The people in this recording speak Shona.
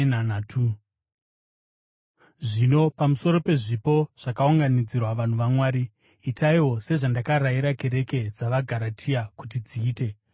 Zvino pamusoro pezvipo zvakaunganidzirwa vanhu vaMwari: Itaiwo sezvandakarayira kereke dzavaGaratia kuti dziite.